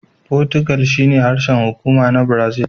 Fotigal shine harshen hukuma na Brazil.